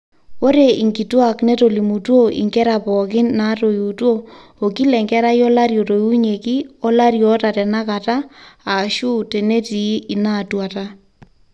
ore inkituaak netolimutuo inkera pooki naatoiutuo okila enkerai olari otoiunyieki olarin oota tenakata aashu tenetii inaatuata